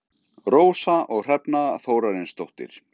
Rósa og Hrefna Þórarinsdóttir.